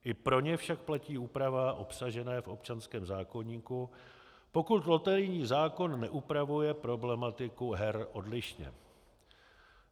I pro ně však platí úprava obsažená v občanském zákoníku, pokud loterijní zákon neupravuje problematiku her odlišně.